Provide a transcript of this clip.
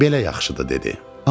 Belə yaxşıdır dedi.